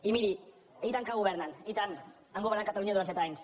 i miri i tant que governen i tant han governat catalunya durant set anys